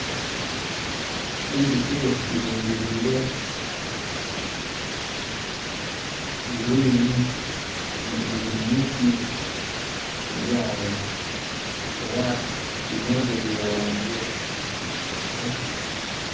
Eilike lilingiliire green lili mu miti, lili awo. Era limoze lyeghumbye.